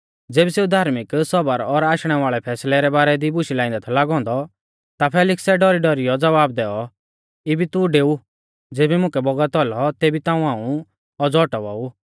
ज़ेबी सेऊ धार्मिक सौबर और आशणे वाल़ै फैसलै रै बारै बुशै लाइंदै थौ लागौ औन्दौ ता फेलिक्सै डौरीडौरीयौ ज़वाब दैऔ इबी तू डेऊ ज़ेबी मुकै बौगत औलौ तेबी ताऊं हाऊं औज़ौ औटावा ऊ